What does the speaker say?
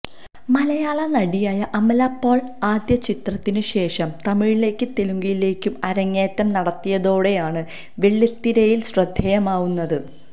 മലയാള നടിയായ അമല പോള് ആദ്യ ചിത്രത്തിന് ശേഷം തമിഴിലേക്കും തെലുങ്കിലേക്കും അരങ്ങേറ്റം നടത്തിയതോടെയാണ് വെള്ളിത്തിരയില് ശ്രദ്ധേയമാവുന്നത്